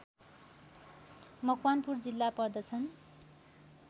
मकवानपुर जिल्ला पर्दछन्